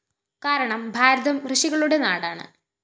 കാരണം ഭാരതം ഋഷികളുടെ നാടാണ്